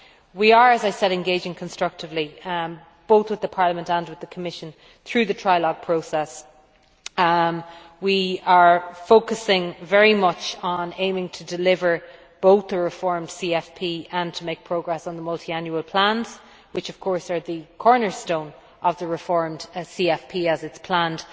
We are, as I said, engaging constructively with both Parliament and the Commission through the trialogue process. We are focusing very much on aiming to deliver both the reformed CFP and to make progress on the multiannual plans, which of course are the cornerstone of the reformed CFP as it is planned.